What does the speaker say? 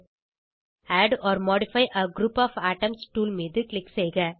add or modify a group of items tool மீது click செய்க